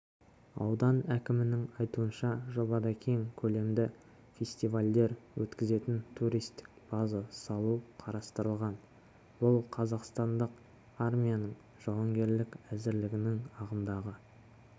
аудан әкімінің айтуынша жобадакең көлемді фестивальдер өткізетін туристік база салу қарастырылған бұл қазақстандық армияның жауынгерлік әзірлігінің ағымдағы